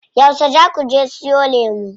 Yauce zaa kuje siyo lemu?